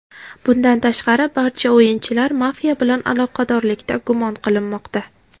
Bundan tashqari, barcha o‘yinchilar mafiya bilan aloqadorlikda gumon qilinmoqda.